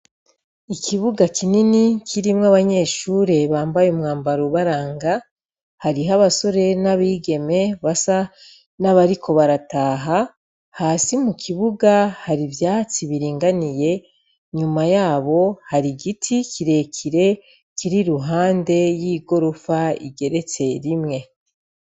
Ikibuga kinini kirimwo abanyeshure bambaye umwambaro ubaranga harimwo abasore nabigeme basa abariko barataha hasi mukibuga hari ivyatsi biri vanité inyuma yabo hari igiti kirekire kiri iruhande yigorofa igeretse rimwe.